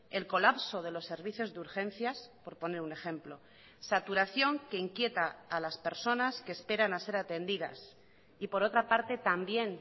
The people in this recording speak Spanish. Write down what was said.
el colapso de los servicios de urgencias por poner un ejemplo saturación que inquieta a las personas que esperan a ser atendidas y por otra parte también